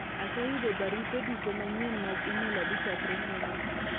aseyudo barupe duto manyien mag email adi chakre nyoro